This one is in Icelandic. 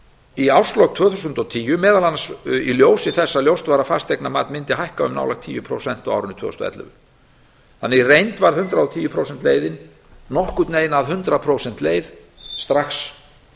í árslok tvö þúsund og tíu meðal annars í ljósi þess að ljóst var að fasteignamat mundi hækka um nálægt tíu prósent á árinu tvö þúsund og ellefu þannig í reynd var hundrað og tíu prósent leiðin nokkurn veginn að hundrað prósenta leið strax